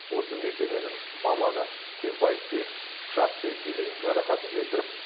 осы мекеменің маманы тембаевке пышақпен дене жарақатын келтіріп